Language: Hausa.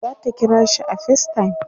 zata kirashi a facetime